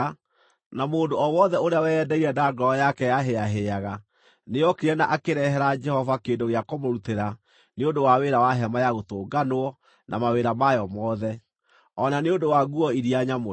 na mũndũ o wothe ũrĩa weyendeire na ngoro yake yahĩĩahĩaga, nĩokire na akĩrehera Jehova kĩndũ gĩa kũmũrutĩra nĩ ũndũ wa wĩra wa hema-ya-Gũtũnganwo na mawĩra mayo mothe, o na nĩ ũndũ wa nguo iria nyamũre.